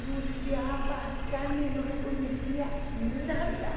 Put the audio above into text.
Eu olhava a carne e não reconhecia nada.